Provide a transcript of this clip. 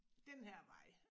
Den her vej